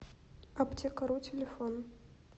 аптекару телефон